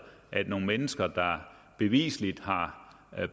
at nogle mennesker der bevisligt har